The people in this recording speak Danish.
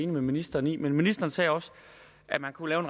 med ministeren i men ministeren sagde også at man kunne lave